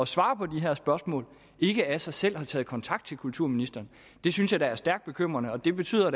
svare på de her spørgsmål ikke af sig selv har taget kontakt til kulturministeren det synes jeg da er stærkt bekymrende og det betyder